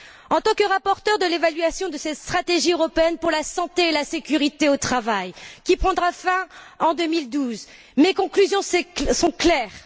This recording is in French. En tant que rapporteure sur l'évaluation de cette stratégie européenne pour la santé et la sécurité au travail, qui prendra fin en 2012, mes conclusions sont claires.